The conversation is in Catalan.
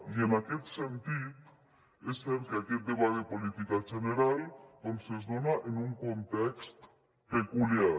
i en aquest sentit és cert que aquest debat de política general es dona en un context peculiar